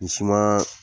Misiman